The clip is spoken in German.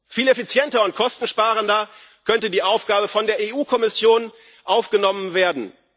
Viel effizienter und kostensparender könnte die Aufgabe von der EU Kommission aufgenommen werden.